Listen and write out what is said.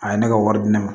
A ye ne ka wari di ne ma